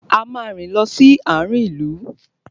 A máa rìn lọ sí àarin ìlú.